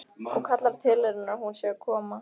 Og kallar til hennar að hún sé að koma.